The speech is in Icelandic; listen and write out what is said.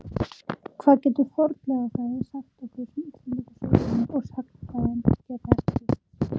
Hvað getur fornleifafræði sagt okkur sem Íslendingasögurnar og sagnfræðin geta ekki?